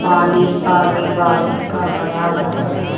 पानी सा भी बारिश का भरा हुआ है।